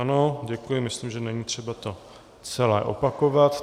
Ano, děkuji, myslím, že není třeba to celé opakovat.